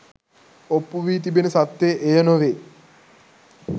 ඔප්පු වී තිබෙන සත්‍යය එය නොවේ